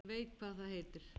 Ég veit hvað það heitir